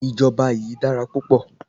Ìjọba yìí dára púpọ̀.